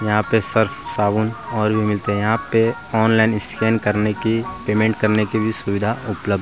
यहाँ पे सर्फ साबुन और भी मिलते हैं यहाँ पे ऑनलाइन स्कैन करने की पेमेंट करने की भी सुविधा उपलब्ध